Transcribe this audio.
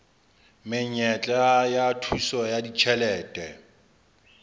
menyetla ya thuso ya ditjhelete